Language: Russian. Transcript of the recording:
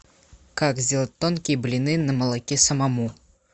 как сделать тонкие блины на молоке самому